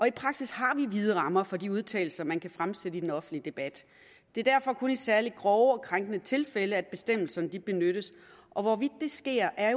i praksis har vi vide rammer for de udtalelser man kan fremsætte i den offentlige debat det er derfor kun i særlig grove og krænkende tilfælde at bestemmelserne benyttes og hvorvidt det sker er